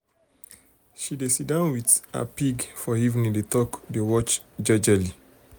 she um dey si down with um her pig um for evening dey talk dey watch jejely.